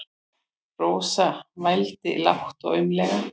Rósa vældi lágt og aumlega.